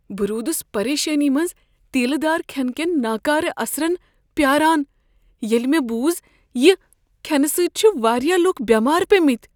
بہٕ روٗدس پریشٲنی منز تیٖلہ دار كھین كین ناكارٕ اثرن پیاران ، ییلہِ مے٘ بوٗز زِ یہ كھٮ۪نہٕ سٕتۍ چھ وارِیاہ لوٗكھ بیمار پیٚمٕتۍ۔